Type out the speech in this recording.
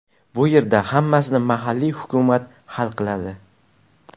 Bu yerda hammasini mahalliy hukumat hal qiladi.